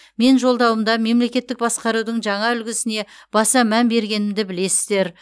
мен жолдауымда мемлекеттік басқарудың жаңа үлгісіне баса мән бергенімді білесіздер